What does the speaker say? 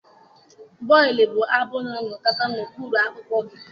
Bọịlụ̀ bụ abụ na-anakọta n'okpuru akpụkpọ gị